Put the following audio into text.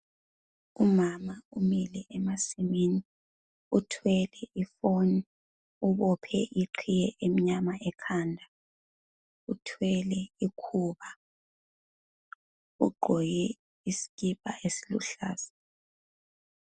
Umama umile emasimini. Uthwele ifoni, ubophe iqhiye emnyama ekhanda. Uthwele ikhuba, ugqoke isikipa esiluhlaza.